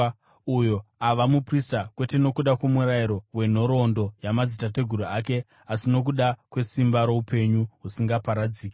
uyo ava muprista kwete nokuda kwomurayiro wenhoroondo yamadzitateguru ake asi nokuda kwesimba roupenyu husingaparadziki.